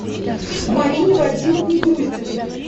марине вадимовне груздевой